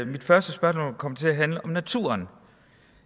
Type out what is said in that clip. mit første spørgsmål vil komme til at handle om naturen